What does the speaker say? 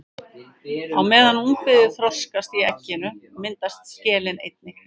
Á meðan ungviðið þroskast í egginu myndast skelin einnig.